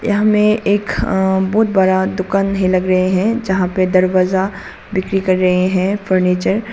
यहां में एक बहोत बड़ा दुकान है लग रहे हैं जहां पे दरवाजा बिक्री कर रहे हैं फर्नीचर ।